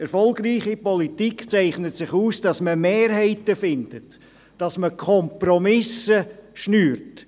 – Erfolgreiche Politik zeichnet sich dadurch aus, dass man Mehrheiten findet und dass man Kompromisse macht.